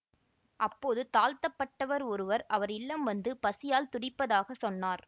அப்போது தாழ்த்தப்பட்டவர் ஒருவர் அவர் இல்லம் வந்து பசியால் துடிப்பதாக சொன்னார்